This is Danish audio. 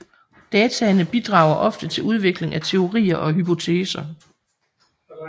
Dataene bidrager ofte til udvikling af teorier og hypoteser